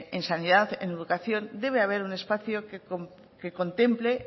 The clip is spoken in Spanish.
en sanidad en educación debe haber un espacio que contemple